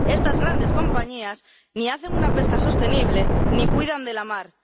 Estas grandes compañías ni hacen una pesca sostenible ni cuidan de la mar.